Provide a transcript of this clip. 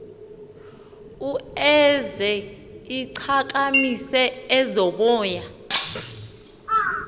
ueuze ichakamise ezomoya